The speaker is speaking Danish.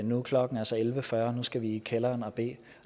nu er klokken altså elleve fyrre nu skal vi i kælderen og bede